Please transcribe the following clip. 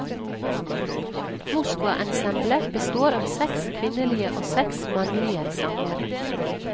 Moskvaensemblet består av seks kvinnelige og seks mannlige sangere.